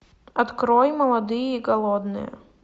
открой молодые и голодные